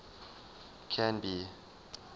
canby